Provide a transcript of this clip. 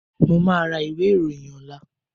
Mo máa ra ìwé ìròyìn ọ̀la